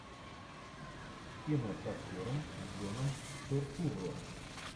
кино с актером джоном туртурро